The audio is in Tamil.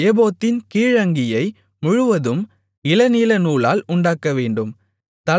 ஏபோத்தின் கீழ் அங்கியை முழுவதும் இளநீலநூலால் உண்டாக்கவேண்டும்